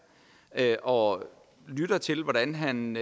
og lytter til hvordan han